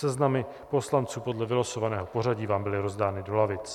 Seznamy poslanců podle vylosovaného pořadí vám byly rozdány do lavic.